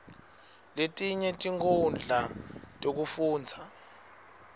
letinye tinkhundla tekufundza